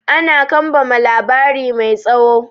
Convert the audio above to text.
Ana kambama labari mai tsawo.